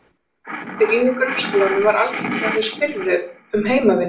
Eftir að þau byrjuðu í grunnskólanum var algengt að þau spyrðu um heimavinnu.